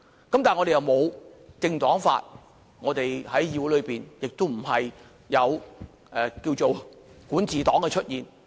但是，我們並無"政黨法"，我們在議會內亦沒有"管治黨"的出現。